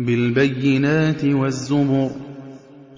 بِالْبَيِّنَاتِ وَالزُّبُرِ ۗ